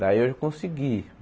Daí eu consegui.